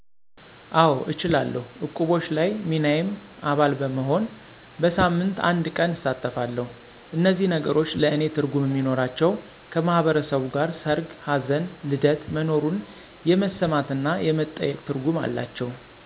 አወ እችላለሁ እቁቦች ላይ ሚናየም አባል በመሆን በሳሞት አንድቀን እሳተፈለሁ እነዚህ ነገሮች ለእኔ ትርጉም እሚኖራቸው ከማህበሩ ጋር ሰርግ፣ ሀዘን፣ ልደት መኖሩን የመሰማት እና የመጠየቅ ትርጉም አላቸው።